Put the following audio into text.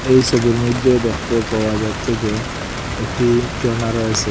এই সবির মইধ্যে দেখতে পাওয়া যাচ্ছে যে একটি জর্ণা রয়েসে।